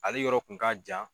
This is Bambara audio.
Ale yɔrɔ kun ka jan